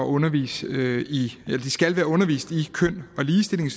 undervist i køn og ligestilling